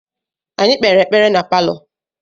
Anyị kpere ekpere na palọ.